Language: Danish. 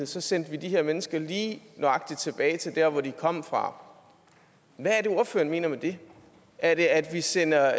så sendte vi de her mennesker lige nøjagtig tilbage til der hvor de kom fra hvad er det ordføreren mener med det er det at vi sender